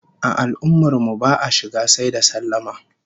A al'ummar mu ba'a shiga sai da sallama